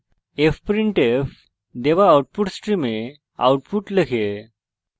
fprintf দেওয়া output stream output লেখে